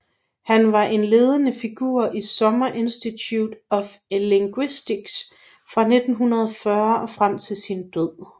Han var en ledende figur i Summer Institute of Linguistics fra 1940 og frem til sin død